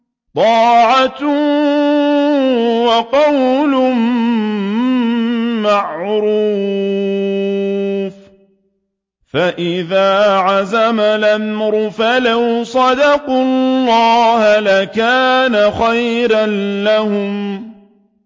طَاعَةٌ وَقَوْلٌ مَّعْرُوفٌ ۚ فَإِذَا عَزَمَ الْأَمْرُ فَلَوْ صَدَقُوا اللَّهَ لَكَانَ خَيْرًا لَّهُمْ